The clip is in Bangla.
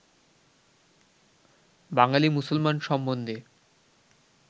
বাঙালী মুসলমান সম্বন্ধে